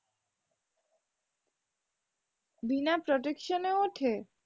বিনা protection এ ওঠে?